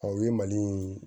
u ye mali in